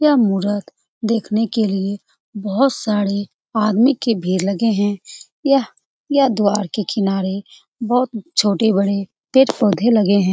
यह मुरत देखने के लिए बहुत सारे आदमी की भीड़ लगे है यह यह द्वार के किनारे बहुत छोटे-बड़े पेड़-पौधे लगे है।